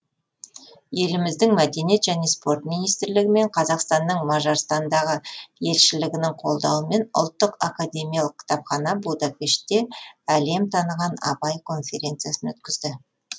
еліміздің мәдениет және спорт министрлігі мен қазақстанның мажарстандағы елшілігінің қолдауымен ұлттық академиялық кітапхана будапештте әлем таныған абай конференциясын өткізді